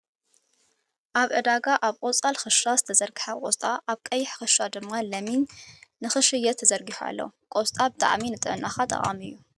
ኣብ ዕዳጋ ኣብ ቆፃል ክሻ ዝተዘርግሓ ቆስጣ፣ ኣብ ቀይሕ ክሻ ድማ ለሚን ንክሽየጥ ተዘርጊሑ ኣሎ ። ቆስጣ ብጣዕሚ ንጥዕናካ ጠቃሚ እዩ ።